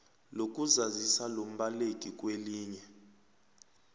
lokuzazisa lombaleki kwelinye